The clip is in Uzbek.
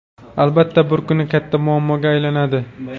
albatta bir kuni katta muammoga aylanadi.